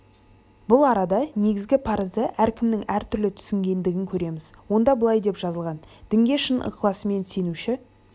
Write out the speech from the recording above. бұл арада негізгі парызды әркімнің әртүрлі түсінгендігін көреміз онда былай деп жазылған дінге шын ықыласымен сенуші